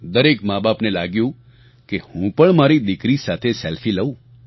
દરેક માંબાપને લાગ્યું કે હું પણ મારી દિકરી સાથે સેલ્ફી લઉં